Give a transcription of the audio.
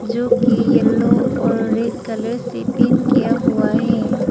जो की येलो और रेड कलर से पेंट किया हुआ है।